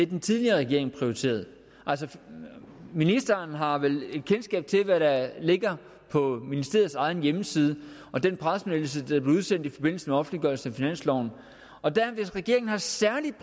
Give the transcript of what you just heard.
den tidligere regering prioriterede ministeren har vel et kendskab til hvad der ligger på ministeriets egen hjemmeside og den pressemeddelelse der blev udsendt i forbindelse med offentliggørelsen finanslov hvis regeringen særligt